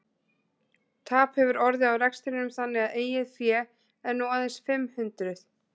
Tap hefur orðið á rekstrinum þannig að eigið fé er nú aðeins fimm hundruð.